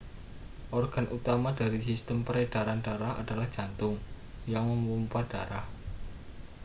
organ utama dari sistem peredaran darah adalah jantung yang memompa darah